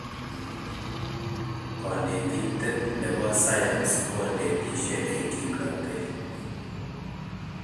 Konetinte ne bo sayans konetishe eng kimnotee.